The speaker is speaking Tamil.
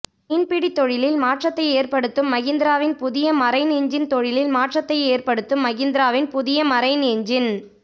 மீன்பிடி தொழிலில் மாற்றத்தை ஏற்படுத்தும் மஹிந்திராவின் புதிய மரைன் இன்ஜின் தொழிலில் மாற்றத்தை ஏற்படுத்தும் மஹிந்திராவின் புதிய மரைன் இன்ஜின்